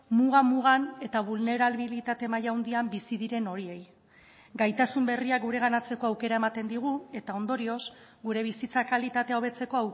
muga mugan eta bulnerabilitate maila handian bizi diren horiei gaitasun berriak gureganatzeko aukera ematen digu eta ondorioz gure bizitza kalitatea hobetzeko